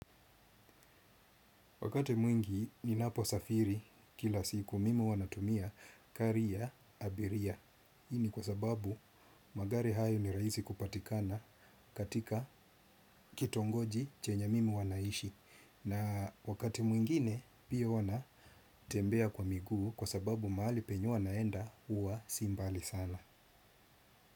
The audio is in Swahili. Wakati mwingi ninaposafiri kila siku mimi huwa natumia kari ya abiria. Hii ni kwa sababu magari hayo ni raisi kupatikana katika kitongoji chenye mimi huwa naishi. Na wakati mwingine pia huwa na tembea kwa miguu kwa sababu mahali penye huwa naenda huwa si mbali sana.